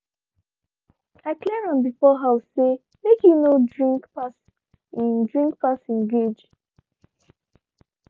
i clear am before house say make he no drink pass him drink pass him gauge.